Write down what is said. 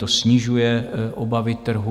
To snižuje obavy trhu.